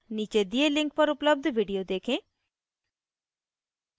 नीचे दिए link पर उपलब्ध video देखें